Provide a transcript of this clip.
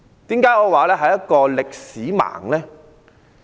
為何我說他是"歷史盲"呢？